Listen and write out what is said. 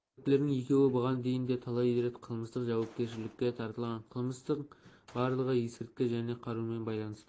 күдіктілердің екеуі бұған дейін де талай рет қылмыстық жауапкершілікке тартылған қылмыстың барлығы есірткі және қарумен байланысты